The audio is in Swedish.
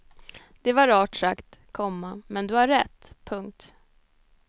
Det var rart sagt, komma men du har rätt. punkt